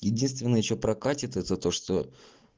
единственное что прокатит это то что